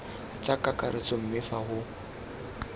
tsa kakaretso mme fa go